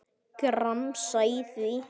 Gramsa í því.